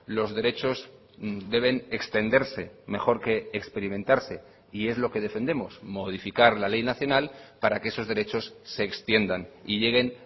los derechos deben extenderse mejor que experimentarse y es lo que defendemos modificar la ley nacional para que esos derechos se extiendan y lleguen